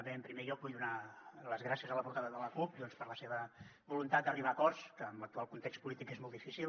bé en primer lloc vull donar les gràcies a la portaveu de la cup doncs per la seva voluntat d’arribar a acords que en l’actual context polític és molt difícil